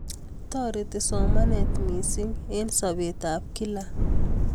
Toriti somanet mising eng sobet ab kila